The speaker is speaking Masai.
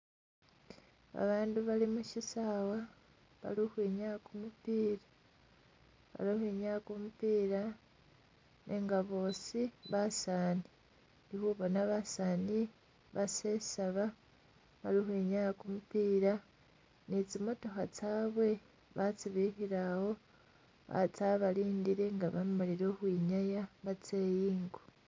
Ba bandu bali mushisawa bali ukhwinyaya kumupiila bali ukhwinyaya kumupiila nenga bosi basani ndi khubona basani basesaba bali ukhwinyaya kumupiila ni tsimotokha tsabwe batsibikhile awo tsabalindile nga bamalile ukhwinyaya batse ingo.